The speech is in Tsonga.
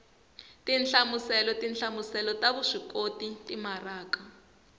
tinhlamuselo tinhlamuselo ta vuswikoti timaraka